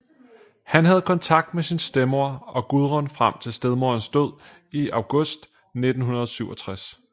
Han havde kontakt med sin stedmor og Gudrun frem til stedmorens død i august 1967